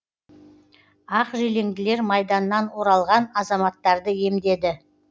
ақ желеңділер майданнан оралған азаматтарды емдеді